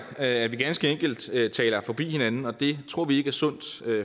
at vi ganske enkelt taler forbi hinanden og det tror vi ikke er sundt